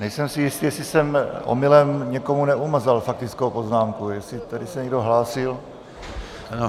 Nejsem si jistý, jestli jsem omylem někomu neumazal faktickou poznámku, jestli tady se někdo hlásil...